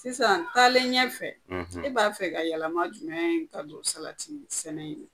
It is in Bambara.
Sisan taa ɲɛfɛ e b'a fɛ ka yɛlɛma jumɛn ka don salati sɛnɛ in na